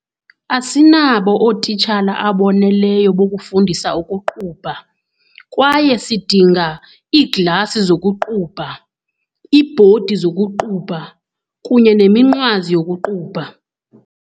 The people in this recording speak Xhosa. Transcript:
Asinabo ootitshala aboneleyo bokufundisa ukuqubha kwaye sidinga iiglasi zokuqubha, iibhodi zokuqubha kunye kweminqwazi yokuqubha.